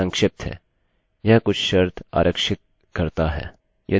यदि यह गलत है यह कोड के अन्य पाथ को निष्पादित करेगा